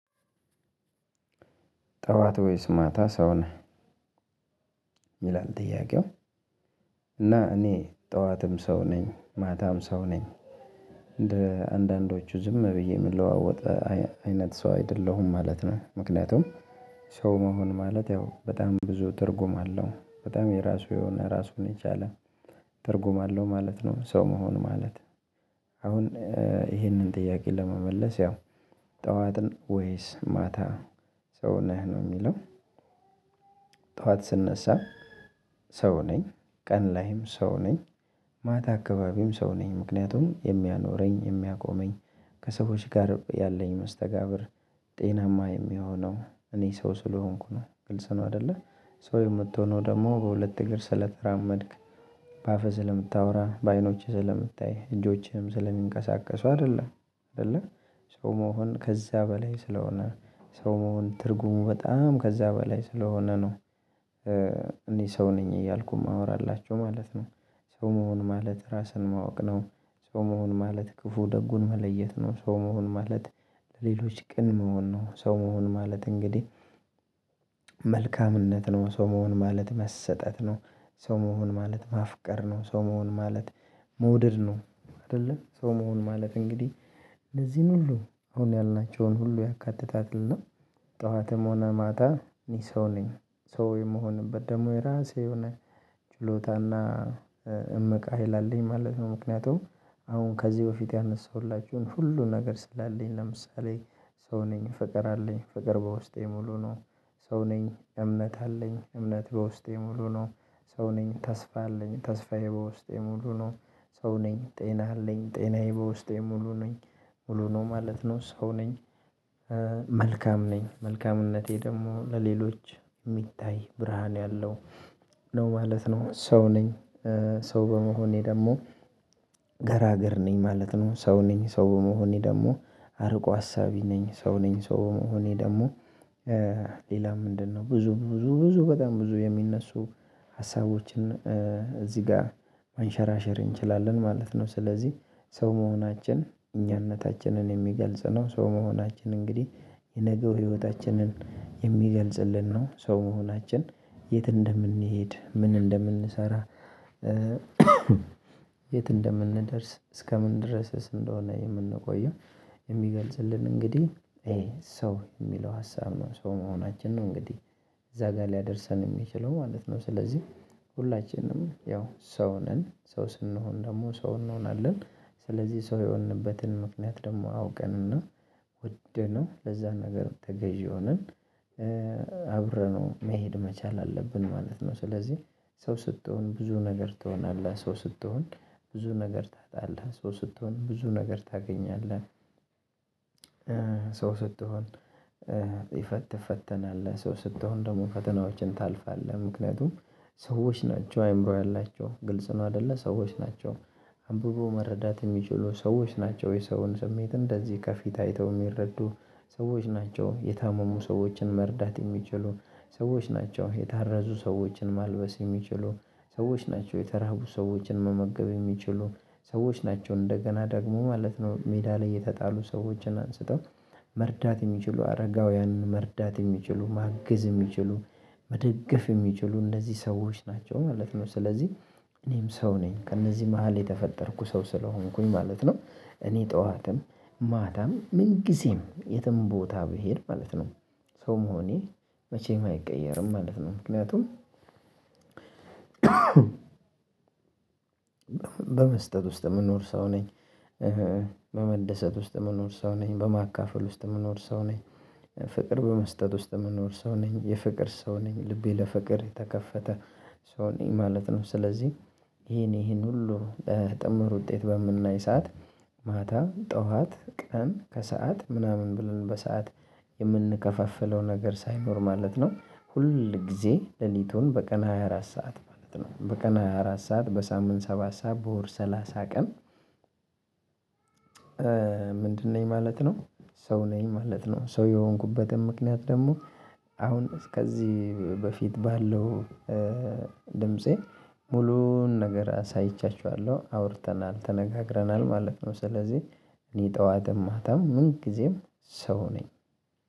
ጠዋት ወይስ ማታ ሰው ነህ? ይላል ጥያቄው እና እኔ ጠዋትም ሰው ነኝ ማታም ሰው ነኝ እንደ አንዳንዶቹ ዝም ብዬ የምለዋወጥ አይነት ሰው አይደለሁም ማለት ነው። ምክንያቱም ሰው መሆን ማለት ያው በጣም ብዙ ትርጉም አለው በጣም የራሱ የሆነ ራሱን የቻለ ትርጉም አለው ማለት ነው። ሰው መሆን ማለት አሁን ይሄንን ጥያቄ ለመመለስ ያው ጠዋት ወይስ ማታ ሰው ነህ ነው የሚለው። ጠዋት ስነሳ ሰው ነኝ ቀን ላይም ሰው ነኝ ማታ አካባቢም ሰው ነኝ ምክንያቱም የሚያኖረኝ የሚያቆመኝ ከሰዎች ጋር ያለኝ መስተጋብር ጤናማ የሚሆነው እኔ ሰው ስለሆንኩ ነው። ግልጽ ነው አይደለ ሰው የምትሆነው ደግሞ በሁለት እግር ስለተራመድክ በአፈህ ስለምታወራ በአይኖችህ ስለምታይ እጆቼህም ስለሚንቀሳቀሱ አይደለም። አይደለ ሰው መሆን ከዚያ በላይ ስለሆነ ሰው መሆን ትርጉሙ በጣም ከዛ በላይ ስለሆነ ነው። እኔ ሰው ነኝ እያልኩ የማወራላቸው ማለት ነው። ሰው መሆን ማለት ራስን ማወቅ ነው። ሰው መሆን ማለት ክፉ ደጉን መለየት ነው። ሰው መሆን ማለት ሌሎች ቅን መሆን ነው። ሰው መሆን ማለት እንግዲህ መልካምነት ነው ሰው መሆን ማለት መሰጠት ነው። ሰው መሆን ማለት ማፍቀር ነው። ሰው መሆን ማለት መውደድ ነው። አይደለ ሰው መሆን ማለት እንግዲህ ለዚህን ሁሉ አሁን ያልናቸውን ሁሉ ያካትታልና ጠዋትም ሆነ ማታ ሰው ነኝ። ሰው የምሆንበት ደግሞ የራሴ የሆነ ችሎታና እምቅ ሀይል አለኝ ማለት ነው። ምክንያቱም አሁን ከዚህ በፊት ያነሳሁላችሁን ሁሉ ነገር ስላለኝ ለምሳሌ ሰው ነኝ ፍቅር አለኝ ፍቅር በውስጤ ሙሉ ነው። ሰው ነኝ እምነት አለኝ እምነት በውስጤ ሙሉ ነው። ሰው ነኝ ተስፋ አለኝ ተስፋዬ በውስጤ ሙሉ ነው። ሰው ነኝ ጤና አለኝ ጤናዬ በውስጤ ሙሉ ነኝ ሙሉ ነው ማለት ነው ሰው ነኝ። መልካም ነኝ መልካምነቴ ደግሞ ለሌሎች የሚታይ ብርሃን ያለው ነው ማለት ነው። ሰው ነኝ። ሰው በመሆኔ ደግሞ ገራገር ነኝ ማለት ነው። ሰው ነኝ ሰው በመሆኔ ደግሞ አርቆ አሳቢ ነኝ። ሰው ነኝ ሰው መሆኔ ደግሞ። ሌላ ምንድነው ብዙ ብዙ ብዙ በጣም ብዙ የሚነሱ ሀሳቦችን እዚህ ጋር ማንሸራሸር እንችላለን ማለት ነው። ስለዚህ ሰው መሆናችን እኛነታችንን የሚገልጽ ነው። ሰው መሆናችን እንግዲህ የነገው ህይወታችንን የሚገልጽልን ነው። ሰው መሆናችን የት እንደምንሄድ ምን እንደምንሰራ የት እንደምንደርስ እስከምን ድረስስ እንደሆነ የምንቆየው። የሚገልጽልን እንግዲህ ይሄ ሰው የሚለው ሀሳብ ነው ሰው መሆናችን ነው። እንግዲህ እዛ ጋር ሊያደርሰን ሚችለው ማለት ነው። ስለዚህ ሁላችንም ያው ሰው ነን ሰው ስንሆን ደግሞ ሰው እንሆናለን። ስለዚህ ሰው የሆንበትን ምክንያት ደግሞ አውቀንና ወደነው ለዛ ነገር ተገዢ ሆነን አብረነው መሄድ መቻል አለብን ማለት ነው። ስለዚህ ሰው ስትሆን ብዙ ነገር ትሆናለህ። ሰው ስትሆን ብዙ ነገር ታጣለህ። ሰው ስትሆን ብዙ ነገር ታገኛለህ። ሰው ስትሆን ይፈት ትፈተናለህ ሰው ስትሆን ደግሞ ፈተናዎችን ታለፋለህ። ምክንያቱም ሰዎች ናቸው አይምሮ ያላቸው ግልጽ ነው አይደለ ሰዎች ናቸው። አንብቦ መረዳት ሚችሉ ሰዎች ናቸው የሰውን ስሜት እንደዚህ ከፊት አይተው እሚረዱ ሰዎች ናቸው የታመሙ ሰዎችን መርዳት የሚችሉ ሰዎች ናቸው የታረዙ ሰዎችን ማልበስ የሚችሉ ሰዎች ናቸው የተራቡ ሰዎችን መመገብ የሚችሉ ሰዎች ናቸው እንደገና ደግሞ ማለት ነው። ሜዳ ላይ የተጣሉ ሰዎችን አንስተው መርዳት የሚችሉ አረጋውያንን መርዳት የሚችሉ ማግዝ የሚችሉ መደገፍ የሚችሉ እንደዚህ ሰዎች ናቸው ማለት ነው። ስለዚህ እኔም ሰው ነኝ ከእነዚህ መሃል የተፈጠርኩ ሰው ስለሆንኩኝ ማለት ነው። እኔ ጠዋትም ማታም ምን ጊዜም የትም ቦታ ብሄድ ማለት ነው። ሰው መሆኔ መቼም አይቀየርም ማለት ነው። ምክንያቱም በመስጠት ውስጥ የምንኖር ሰው ነኝ። በመደሰት ውስጥ የምንኖር ሰው ነኝ በማካፈል ውስጥ የምንኖር ሰው ነኝ ፍቅር በመስጠት ውስጥ የምንኖር ሰው ነኝ የፍቅር ሰው ነኝ ልቤ ለፍቅር የተከፈተ ሰው ነኝ ማለት ነው። ስለዚህ ይሄን ይሄን ሁሉ በጥምር ውጤት በምናይ ሰዓት ማታ ጠዋት ቀን ከሰአት ምናምን ብለን በሰአት የምንከፋፍለው ነገር ሳይኖር ማለት ነው። ሁል ጊዜ ሌሊቱን በቀን ሃያ አራት ሰዓት ማለት ነው በቀን ሃያ አራት ሰዓት በሳምንት ሰባት ሰዓት በወር ሰላሳ ቀን። ምንድነኝ ማለት ነው? ሰው ነኝ ማለት ነው። ሰው የሆንኩበትም ምክንያት ደግሞ አሁን እስከዚህ በፊት ባለው ድምፄ ሙሉውን ነገር አሳይቻችኋለሁ አውርተናል ተነጋግረናል ማለት ነው። ስለዚህ እኔ ጠዋትም ማታም ምን ጊዜም ሰው ነኝ።